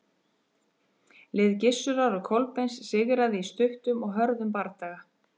Lið Gissurar og Kolbeins sigraði í stuttum og hörðum bardaga.